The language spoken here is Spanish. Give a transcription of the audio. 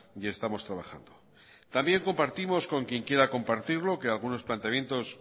y estamos trabajando también compartimos con quien quiera compartirlo que algunos planteamientos